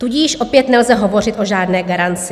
Tudíž opět nelze hovořit o žádné garanci.